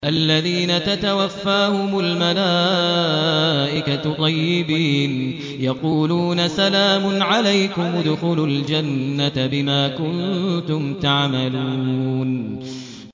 الَّذِينَ تَتَوَفَّاهُمُ الْمَلَائِكَةُ طَيِّبِينَ ۙ يَقُولُونَ سَلَامٌ عَلَيْكُمُ ادْخُلُوا الْجَنَّةَ بِمَا كُنتُمْ تَعْمَلُونَ